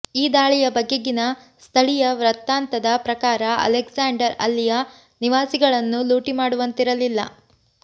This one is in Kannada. ಈ ದಾಳಿಯ ಬಗೆಗಿನ ಸ್ಥಳಿಯ ವೃತ್ತಾಂತದ ಪ್ರಕಾರ ಅಲೆಗ್ಸಾಂಡರ್ ಅಲ್ಲಿಯ ನಿವಾಸಿಗಳನ್ನು ಲೂಟಿಮಾಡುವಂತಿರಲಿಲ್ಲ